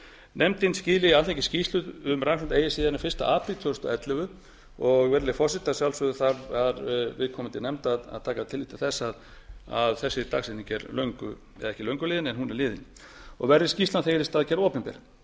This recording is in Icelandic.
nefndin skili alþingi skýrslu um rannsóknina eigi síðar en fyrsti apríl tvö þúsund og ellefu og virðulegi forseti að sjálfsögðu þarf viðkomandi nefnd að taka tillit til þess að þessi dagsetning er löngu eða ekki löngu liðin en hún er liðin og verði skýrslan þegar í stað gerð opinber